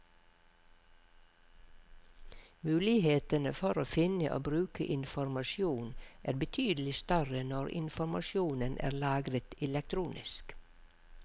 Mulighetene for å finne og bruke informasjon er betydelig større når informasjonen er lagret elektronisk.